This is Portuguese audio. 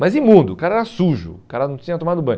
Mas imundo, o cara era sujo, o cara não tinha tomado banho.